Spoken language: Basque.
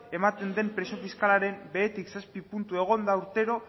ematen de presio fiskalaren behetik zazpi puntu egon da urtero